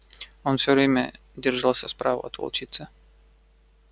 он всё время держался справа от волчицы